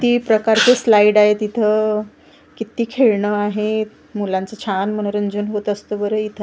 ती प्रकारचे स्लाईड आहे तिथं किती खेळणं आहे मुलांचं छान मनोरंजन होत असतं बरं इथं .